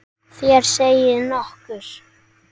Þér segið nokkuð!